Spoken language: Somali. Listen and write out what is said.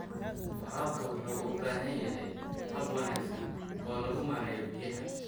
Waraabka waxa uu u baahan yahay hab wanaagsan oo lagu maareeyo biyaha.